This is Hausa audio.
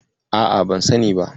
A'a, ban sani ba.